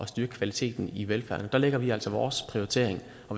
styrke kvaliteten i velfærden der lægger vi altså vores prioritering